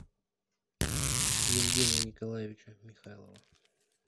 евгения николаевича михайлова